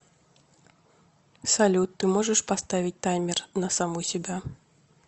салют ты можешь поставить таймер на саму себя